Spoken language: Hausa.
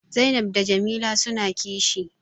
Zainab da Jamila suna kishi